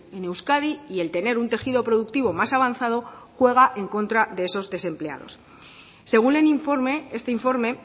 en euskadi y el tener un tejido productivo más avanzado juega en contra de esos desempleados según el informe este informe